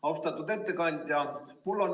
Austatud ettekandja!